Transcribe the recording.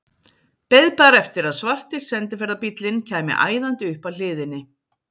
Beið bara eftir að svarti sendiferðabíllinn kæmi æðandi upp að hliðinni.